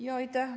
Aitäh!